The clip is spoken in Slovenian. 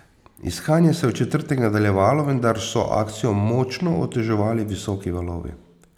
Iskanje se je v četrtek nadaljevalo, vendar so akcijo močno oteževali visoki valovi.